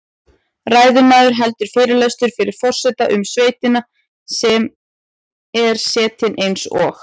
Ræðismaður heldur fyrirlestur fyrir forseta um sveitina sem er setin eins og